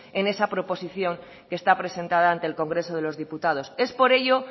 en esa proposición que está presentada ante el congreso de los diputados es por ello